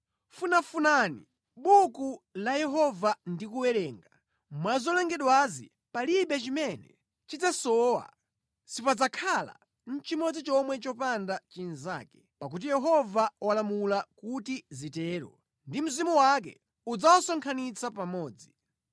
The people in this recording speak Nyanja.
Funafunani mʼbuku la Yehova ndi kuwerenga: mwa zolengedwazi palibe chimene chidzasowa; sipadzakhala nʼchimodzi chomwe chopanda chinzake. Pakuti Yehova walamula kuti zitero, ndipo Mzimu wake udzawasonkhanitsa pamodzi.